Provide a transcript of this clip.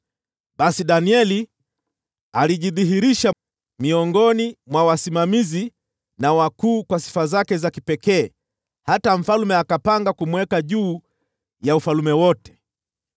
Basi Danieli alijidhihirisha, miongoni mwa wasimamizi na wakuu kwa sifa zake za kipekee hata mfalme akapanga kumweka juu ya ufalme wote.